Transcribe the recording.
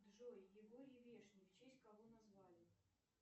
джой егорий вешний в честь кого назвали